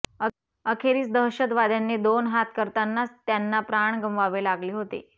अखेरीस दहशतवाद्यांशी दोन हात करतानाच त्यांना प्राण गमवावे लागले होते